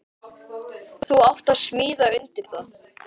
Þú átt að smíða undir það.